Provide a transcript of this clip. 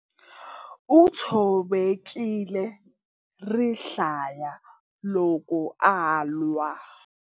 U tshovekile rihlaya loko a lwa.